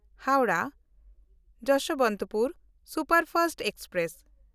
Howrah Yesvantpur superfast express